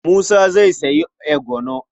Musa zai sayi eguro.